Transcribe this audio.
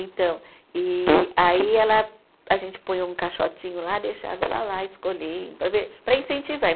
Então, e aí ela, a gente põe um caixotinho lá, deixava ela lá, escolhendo, para ver, para incentivar.